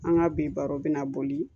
An ka bi baro bɛna boli